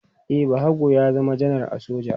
E, Bahago ya zama janar a soja.